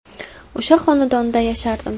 O‘sha xonadonda yashardim.